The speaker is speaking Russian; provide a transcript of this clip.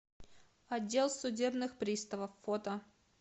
отдел судебных приставов фото